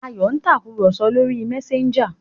Ayò ń Tàkùrọ̀sọ lọ rí Messager.